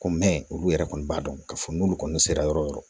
Ko olu yɛrɛ kɔni b'a dɔn k'a fɔ n'olu kɔni sera yɔrɔ yɔrɔ yɔrɔ